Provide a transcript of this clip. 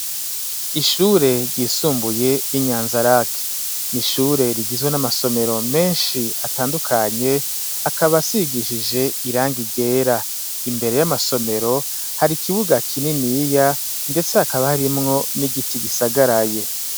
Ishure ryisumbuye ry'i Nyanzarake, ni ishure rigizwe n'amasomero menshi atandukanye, akaba asigishije irangi ryera; imbere y'amasomero hari ikibuga kininiya, ndetse hakaba harimwo n'igiti gisagaraye.